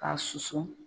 K'a susu